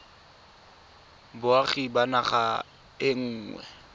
boagi ba naga e nngwe